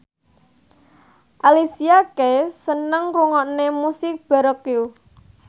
Alicia Keys seneng ngrungokne musik baroque